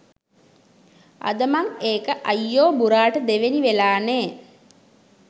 අද මං එක අයියෝ බුරාට දෙවෙනි වෙලා නේ